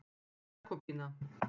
Jakobína